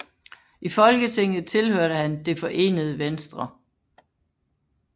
I Folketinget tilhørte han Det Forenede Venstre